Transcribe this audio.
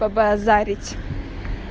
побазарить